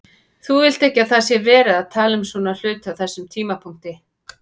Þú vilt ekki að það sé verið að tala um svona hluti á þessum tímapunkti.